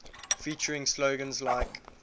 featuring slogans like